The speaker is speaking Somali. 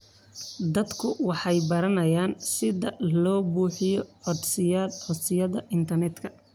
Dadku waxay baranayaan sida loo buuxiyo codsiyada internetka.